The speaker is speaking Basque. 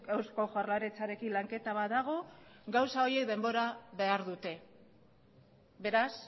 eusko jaurlaritzarekin lanketa bat dago gauza horiek denbora behar dute beraz